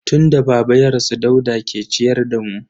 Tun da baba ya rasu Dauda ke ciyar da mu.